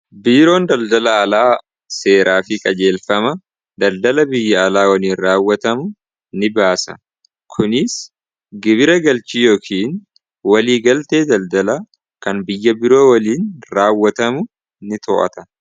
biiroon daldala alaa seeraa fi qajeelfama daldala biyya alaa waliin raawwatamu ni baasa kunis gibira galchii yookiin walii galtee daldala kan biyya biroo waliin raawwatamu ni to'ata